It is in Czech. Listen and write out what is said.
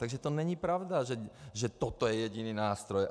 Takže to není pravda, že toto je jediný nástroj.